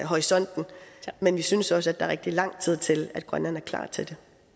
horisonten men vi synes også at er rigtig lang tid til at grønland er klar til